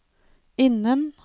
innen